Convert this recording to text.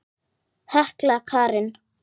Hekla Karen.